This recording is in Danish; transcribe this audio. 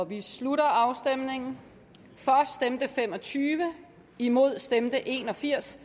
vi slutter afstemningen for stemte fem og tyve imod stemte en og firs